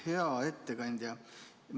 Hea ettekandja!